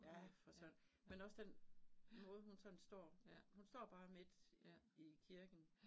Ja for søren men også den måde hun sådan står. Hun står bare midt i kirken